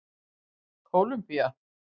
Kólumbía